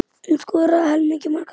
Hún skoraði helming marka Fylkis.